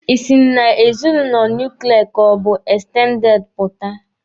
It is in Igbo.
Ị sị na ezinụlọ nuklia ka ọ bụ ekstendede pụta!